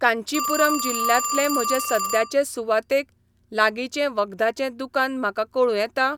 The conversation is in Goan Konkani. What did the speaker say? कांचीपुरम जिल्ल्यांतले म्हजे सद्याचे सुवातेक लागींचें वखदाचें दुकान म्हाका कळूं येता?